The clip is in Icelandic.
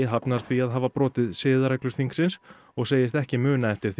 hafnar því að hafa brotið siðareglur þingsins og segist ekki muna eftir